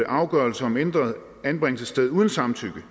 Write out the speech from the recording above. afgørelse om ændret anbringelsessted uden samtykke